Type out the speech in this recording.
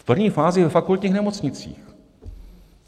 V první fázi ve fakultních nemocnicích.